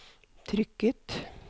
trykket